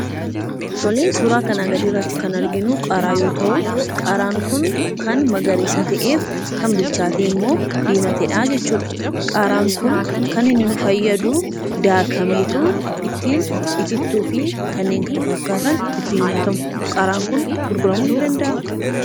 Suuraa gadii kan argamu qaaraa yommuu ta'uu; qaaraan kun kan magariisaa ta'ee fi bilchaatee diimateedha. Qaaraan Kunis kan fayyadu daakamee itittuu fi kaneen kana fakkaatan kan ittiin nyaatamanii dha. Qaaraan Kun gurguramuu ni danda'aa?